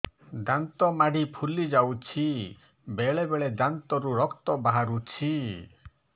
ଦାନ୍ତ ମାଢ଼ି ଫୁଲି ଯାଉଛି ବେଳେବେଳେ ଦାନ୍ତରୁ ରକ୍ତ ବାହାରୁଛି